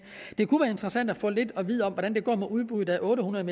det kunne være interessant at få lidt at vide om hvordan det går med udbuddet af otte hundrede